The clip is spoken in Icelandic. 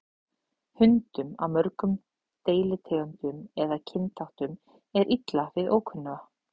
Hundum af mörgum deilitegundum eða kynþáttum er illa við ókunnuga.